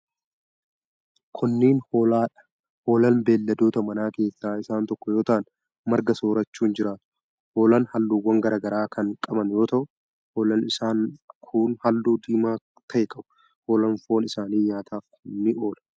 Kunneen ,hoolaa dha. Hoolaan beeyiladoota manaa keessaa isaan tokko yoo ta'an, marga soorachuun jiraatu. Hoolaan halluuwwan garaa garaa kan qaban yoo ta'u, hoolaan isaan kun halluu diimaa ta'e qabu. Hoolaan foon isaanii nyaataf ni oola.